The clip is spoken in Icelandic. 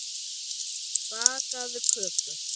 Bakaðu köku.